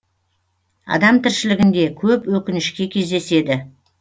адам тіршілігінде көп өкінішке кездеседі